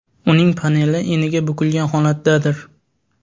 Uning paneli eniga bukilgan holatdadir.